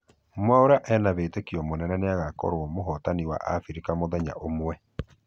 mwaura ena wĩtĩkia mũnene nĩagokorwo mũhotani wa africa mũthenya ũmwe